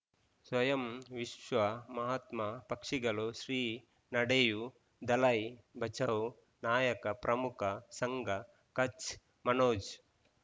ಸ್ವಯಂ ವಿಶ್ವ ಮಹಾತ್ಮ ಪಕ್ಷಿಗಳು ಶ್ರೀ ನಡೆಯೂ ದಲೈ ಬಚೌ ನಾಯಕ ಪ್ರಮುಖ ಸಂಘ ಕಚ್ ಮನೋಜ್